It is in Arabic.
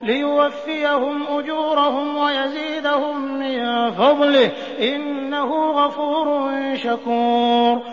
لِيُوَفِّيَهُمْ أُجُورَهُمْ وَيَزِيدَهُم مِّن فَضْلِهِ ۚ إِنَّهُ غَفُورٌ شَكُورٌ